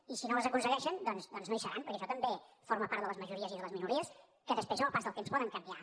i si no les aconsegueixen doncs no hi seran perquè això també forma part de les majories i de les minories que després amb el pas del temps poden canviar